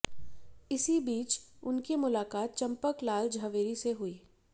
इसी बीच उनकी मुलाकात चंपक लाल झवेरी से हुई